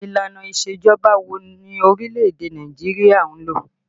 Ìlànà isejọba wo ni orílẹ̀ èdè Nàìjíríà ń lò?